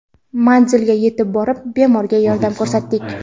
Manzilga yetib borib bemorga yordam ko‘rsatdik.